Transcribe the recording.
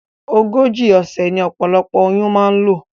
Ogójì òsè ní opolopo oyún ma n lò